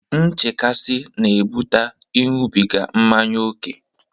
Nchekasị na-ebute Ịṅụbiga mmanya ókè.